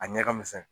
A ɲɛ ka misɛn